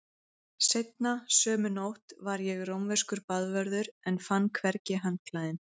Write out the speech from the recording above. Seinna sömu nótt var ég rómverskur baðvörður en fann hvergi handklæðin.